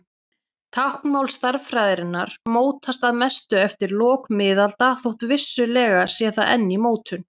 Táknmál stærðfræðinnar mótaðist að mestu eftir lok miðalda þótt vissulega sé það enn í mótun.